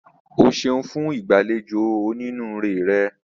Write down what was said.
O ṣeun fun igbaalejò oninuure rẹ.